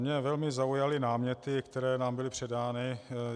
Mě velmi zaujaly náměty, které nám byly předány.